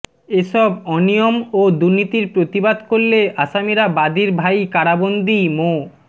এসব অনিয়ম ও দুর্নীতির প্রতিবাদ করলে আসামিরা বাদীর ভাই কারাবন্দি মো